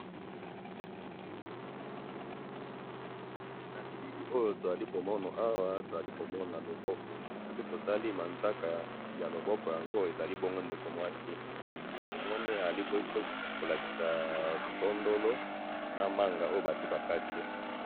na bilili oyo tozali komona awa tozali komona loboko soki totali manzaka ya loboko oyo tozali tozomona ezali oyo bongo ndeko mwasi tomoni azali kolakisa biso tondolo na manga oyo esi bakati.